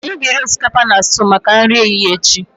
anyị ga-eri osikapa na stew maka nri ehihie echi